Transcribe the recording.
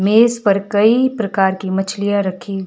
मेज पर कई प्रकार की मछलियां रखी--